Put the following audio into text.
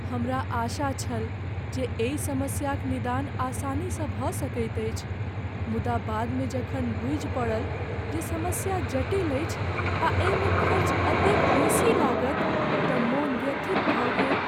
हमरा आशा छल जे एहि समस्याक निदान आसानीसँ भऽ सकैत अछि, मुदा बादमे जखन बूझि पड़ल जे समस्या जटिल अछि आ एहिमे खर्च एतेक बेसी लागत तँ मोन व्यथित भऽ गेल।